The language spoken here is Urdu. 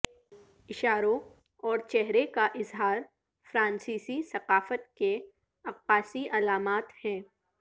اشاروں اور چہرے کا اظہار فرانسیسی ثقافت کے عکاسی علامات ہیں